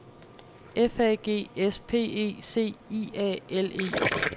F A G S P E C I A L E